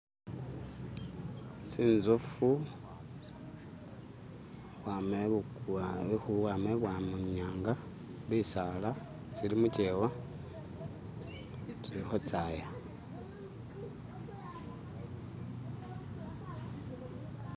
tsinzofu ukhwama ibwamanyanga bisaala tsili mukyewa tsilikho tsaaya.